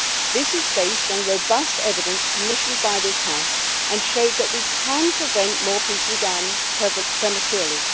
This is based on robust evidence commissioned by this House, which showed that we can prevent more people dying prematurely.